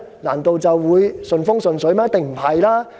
難道便會順風順水嗎？